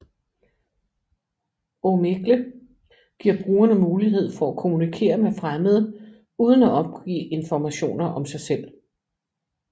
Omegle giver brugerne mulighed for at kommunikere med fremmede uden at opgive informationer om sig selv